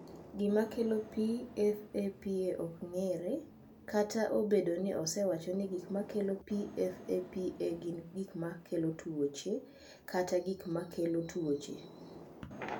"Gima kelo PFAPA ok ong’ere, kata obedo ni osewacho ni gik ma kelo PFAPA gin gik ma kelo tuoche kata gik ma kelo tuoche."